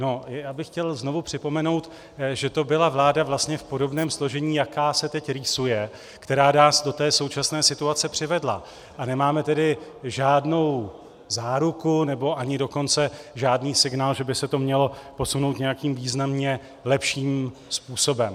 No, já bych chtěl znovu připomenout, že to byla vláda vlastně v podobném složení, jaká se teď rýsuje, která nás do té současné situace přivedla, a nemáme tedy žádnou záruku, nebo ani dokonce žádný signál, že by se to mělo posunout nějakým významně lepším způsobem.